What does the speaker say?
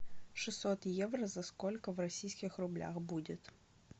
шестьсот евро за сколько в российских рублях будет